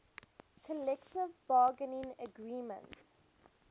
collective bargaining agreement